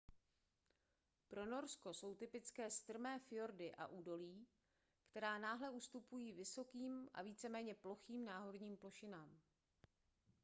pro norsko jsou typické strmé fjordy a údolí která náhle ustupují vysokým a víceméně plochým náhorním plošinám